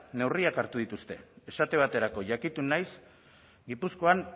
neurriak hartu dituzte esate baterako jakitun naiz gipuzkoan